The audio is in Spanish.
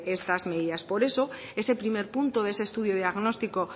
estas medidas por eso ese primer punto de ese estudio diagnóstico